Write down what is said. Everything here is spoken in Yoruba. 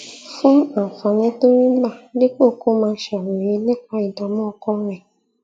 fún àǹfààní tó rí gbà dípò kó máa ṣàròyé nípa ìdààmú ọkàn rè